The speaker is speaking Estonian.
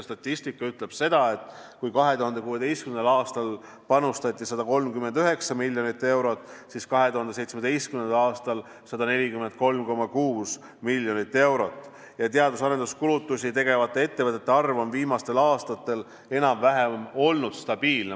Statistika ütleb, et kui 2016. aastal panustati 139 miljonit eurot, siis 2017. aastal 143,6 miljonit eurot ning teadus- ja arenduskulutusi tegevate ettevõtete arv on viimastel aastatel olnud enam-vähem stabiilne.